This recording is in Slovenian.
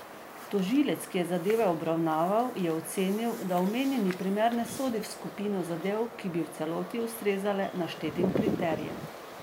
Tožilec, ki je zadeve obravnaval, je ocenil, da omenjeni primer ne sodi v skupino zadev, ki bi v celoti ustrezala naštetim kriterijem.